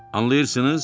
Anlayırsınız?